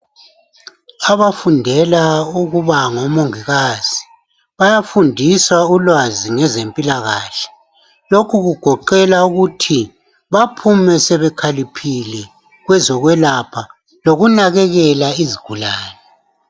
Abafundela ukuba ngo mongikazi bayafundisa ulwazi ngezempilakahle lokhu kugoqela ukuthi baphume sebekhaliphile kwezo kwelapha loku nakelela izigulane.